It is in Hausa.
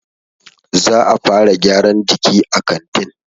Za'a fara gyaran jiki a kantin.